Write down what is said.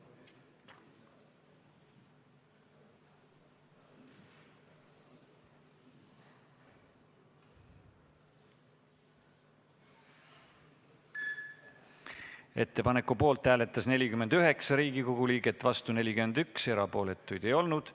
Hääletustulemused Ettepaneku poolt hääletas 49 Riigikogu liiget, vastu oli 41 ja erapooletuid ei olnud.